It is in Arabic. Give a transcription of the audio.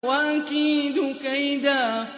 وَأَكِيدُ كَيْدًا